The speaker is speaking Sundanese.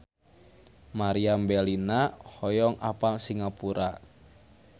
Meriam Bellina hoyong apal Singapura